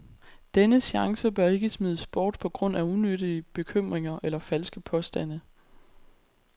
Denne chance bør ikke smides bort på grund af unyttige bekymringer eller falske påstande.